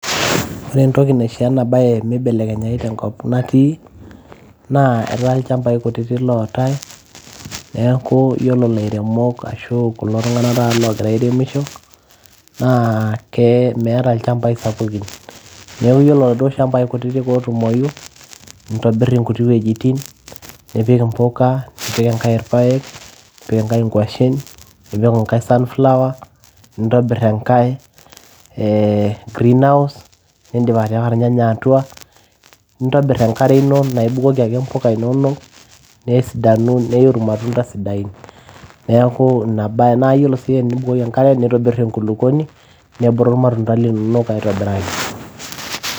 ore entoki naishoo ena baye mibelekenyai tenkop natii naa etaa ilchambai kutitik lootay neeku yiolo ilairemok ashu kulo tung'anak taata logira airemisho naa ke meeta ilchambai sapukin neeku yiolo iladuo shambai kutitik ootumoyu nitobirr inkuti wuejitin nipik impuka, nipik enkay irpayek, nipik enkay inkuashen, nipik enkay sunflower nintobirr enkay ee greenhouse nindip atipika irnyanya atua nintobirr enkare ino naa ibukoki ake impuka inonok nesidanu neiu irmatunda sidain neeku ina baye naa yiolo sii tenibukoki enkare nitobirr enkulukuoni nebulu irmatunda linonok aitobiraki.